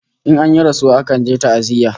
In an yi rasuwa akan je ta'aziyya